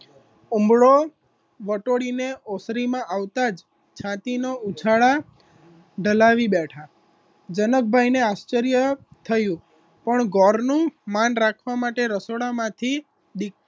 ઉમરો વટોડીને ઓસળીમાં આવતા જ છાતીનો ઉછાળા ઠરાવી બેઠા જનકભાઈને આશ્ચર્ય થયું પણ ગોરનું માન રાખવા માટે રસોડા માંથી